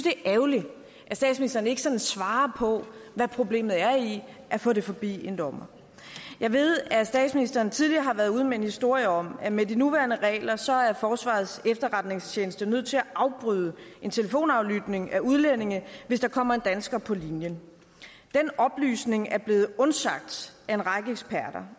er ærgerligt at statsministeren ikke sådan svarer på hvad problemet er i at få det forbi en dommer jeg ved at statsministeren tidligere har været ude med en historie om at med de nuværende regler så er forsvarets efterretningstjeneste nødt til at afbryde en telefonaflytning af udlændinge hvis der kommer en dansker på linjen den oplysning er blevet undsagt af en række eksperter